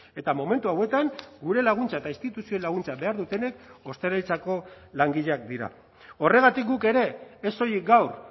eta momentu hauetan gure laguntza eta instituzioen laguntza behar dutenek ostalaritzako langileak dira horregatik guk ere ez soilik gaur